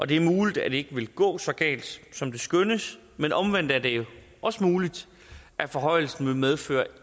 det er muligt at det ikke vil gå så galt som det skønnes men omvendt er det også muligt at forhøjelsen vil medføre